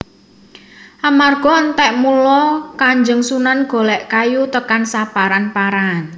Amarga entek mula Kanjeng Sunan golek kayu tekan saparan paran